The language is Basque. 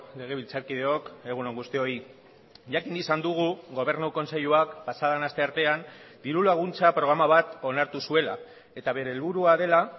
legebiltzarkideok egun on guztioi jakin izan dugu gobernu kontseiluak pasaden asteartean diru laguntza programa bat onartu zuela eta bere helburua dela